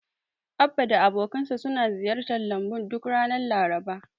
Abba da abokansa suna ziyartar lambun duk ranar Laraba.